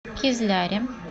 кизляре